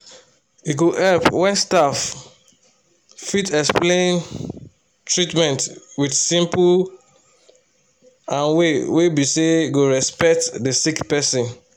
e dey help wen staff fit explain treatments wit simple and way wey be say go respect the sick person.